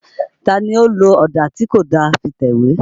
Ta ni ó lo ọ̀dà tí kò da fi tẹ̀wé?